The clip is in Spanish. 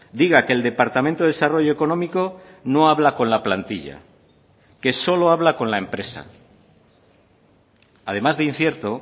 diga que el departamento de desarrollo económico no habla con la plantilla que solo habla con la empresa además de incierto